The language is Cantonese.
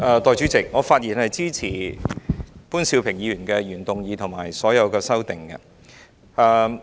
代理主席，我發言支持潘兆平議員的原議案及所有修正案。